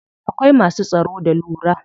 Akwai masu tsaro da lura.